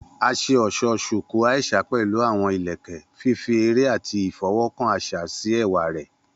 A ṣe ọṣọ Shuku Aisha pẹlu awọn ilẹkẹ, fifi ere ati ifọwọkan aṣa si ẹwa rẹ.